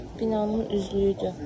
Binanın üzlüyüdür.